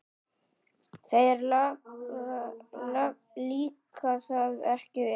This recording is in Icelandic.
Þér líkaði það ekki vel.